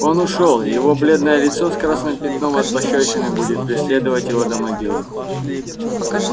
он ушёл и его бледное лицо с красным пятном от пощёчины будет преследовать её до могилы